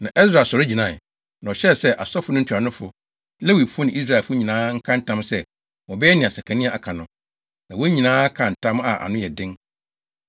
Na Ɛsra sɔre gyinae, na ɔhyɛɛ sɛ asɔfo no ntuanofo, Lewifo ne Israelfo nyinaa nka ntam sɛ wɔbɛyɛ nea Sekania aka no. Na wɔn nyinaa kaa ntam a ano yɛ den.